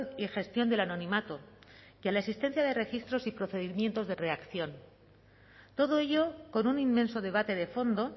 y gestión del anonimato que a la existencia de registros y procedimientos de reacción todo ello con un inmenso debate de fondo